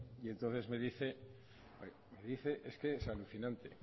y entonces me dice es que es alucinante